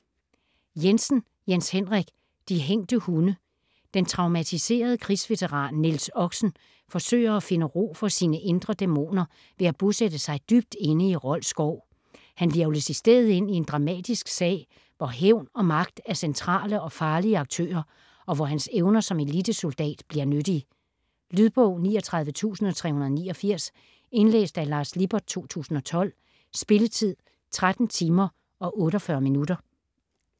Jensen, Jens Henrik: De hængte hunde Den traumatiserede krigsveteran Niels Oxen forsøger at finde ro for sine indre dæmoner ved at bosætte sig dybt inde i Rold Skov. Han hvirvles i stedet ind i en dramatisk sag hvor hævn og magt er centrale og farlige aktører, og hvor hans evner som elitesoldat bliver nyttige. Lydbog 39389 Indlæst af Lars Lippert, 2012. Spilletid: 13 timer, 48 minutter.